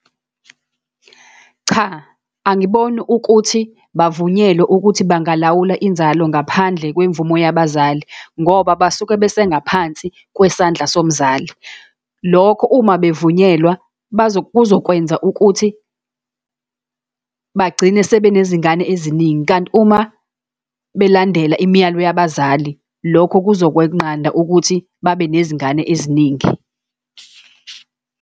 Cha, angiboni ukuthi bavunyelwe ukuthi bangalawulwa inzalo ngaphandle kwemvumo yabazali, ngoba basuke besengaphansi kwesandla somzali. Lokho uma bavunyelwe kuzokwenza ukuthi bagcine sebenezingane eziningi. Kanti uma belandela imiyalelo yabazali, lokho kuzokweqanda ukuthi babe nezingane eziningi.